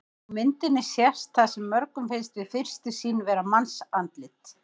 Á myndinni sést það sem mörgum finnst við fyrstu sýn vera mannsandlit.